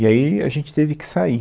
E aí a gente teve que sair.